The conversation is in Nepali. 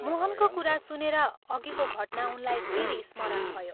मोहनको कुरा सुनेर अघिको घटना उनलाई फेरि स्मरण भयो